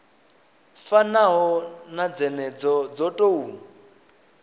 fanaho na dzenedzo dzo tou